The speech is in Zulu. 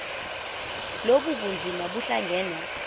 lobu bunzima buhlangane